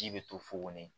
Ji bɛ to fukon de ye